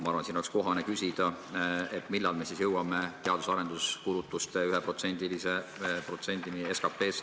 Ma arvan, et oleks kohane küsida, millal me siis jõuame teadus- ja arenduskulutuste finantseerimisel 1%-ni SKP-st.